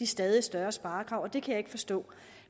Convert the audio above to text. stadig større sparekrav og det kan jeg ikke forstå